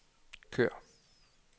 kør